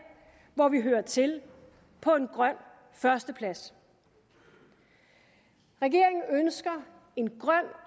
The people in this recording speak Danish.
hvor vi hører til på en grøn førsteplads regeringen ønsker en grøn